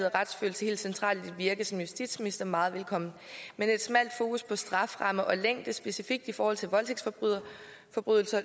og retsfølelse helt centralt i dit virke som justitsminister meget velkommen men et smalt fokus på straframme og længde specifikt i forhold til voldtægtsforbrydelser